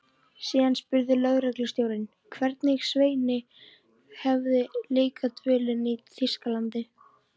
Síðan spurði lögreglustjórinn, hvernig Sveini hefði líkað dvölin í Þýskalandi.